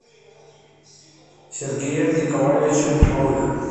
сергеем николаевичем малых